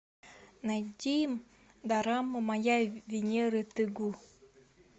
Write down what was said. найди дораму моя венера те гу